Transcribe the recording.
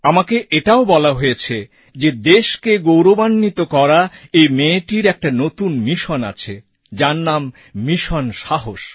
আমাকে এটাও বলা হয়েছে যে দেশকে গৌরবান্বিত করা এই মেয়েটির একটা নতুন মিশন আছে যার নাম মিশন সাহস